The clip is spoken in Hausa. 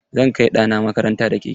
Zan kai ɗana makaranta da keke.